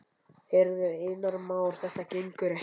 Heyrðu, Einar Már, þetta gengur ekki.